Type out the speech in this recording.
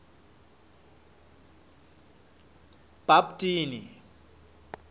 bhaptini